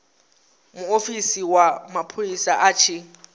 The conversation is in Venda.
muofisi wa mapholisa a tshi